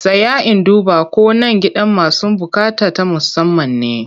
Tsaya in duba ko nan gidan masu buƙata ta musamman ne!